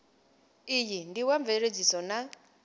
iyi ndi wa mveledziso na